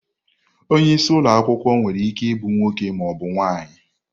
Onye isi ụlọ akwụkwọ nwere ike ịbụ nwoke ma ọ bụ nwanyị.